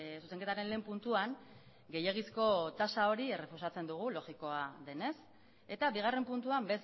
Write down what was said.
zuzenketaren lehen puntuan gehiegizko tasa hori errefusatzen dugu logikoa denez eta bigarren puntuan